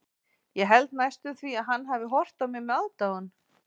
Ég held næstum því að hann hafi horft á mig með aðdáun.